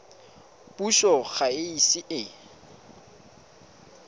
puso ga e ise e